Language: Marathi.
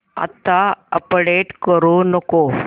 आता अपडेट करू नको